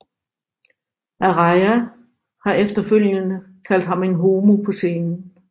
Araya har efterfølgende kaldt ham en homo på scenen